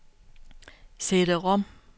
CD-rom